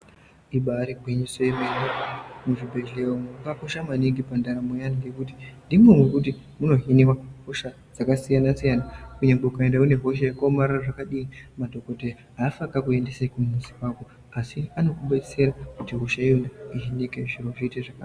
Ibairi gwinyiso yemene muzvibhedhleya umu makakosha maningi pa ndaramo yeanhu ngekuti ndimo mekuti munohiniwa hosha dzaka siyana siyana kunyangwe ukaenda une hosha yakaomarara zvakadini madhokodheya aafi akaku endese kumuzi kwako asi anoku betsera kuti hosha iyona ihinike zviro zviite zvakanaka.